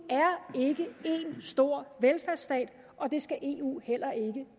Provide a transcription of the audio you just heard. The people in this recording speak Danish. stor velfærdsstat og det skal eu heller ikke